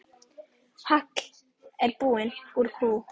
Hagl er buna úr kú.